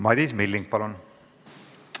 Madis Milling, palun!